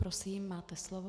Prosím, máte slovo.